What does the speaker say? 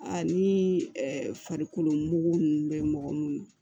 Ani farikolo mugu ninnu bɛ mɔgɔ minnu